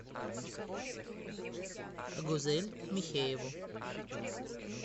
гузель михееву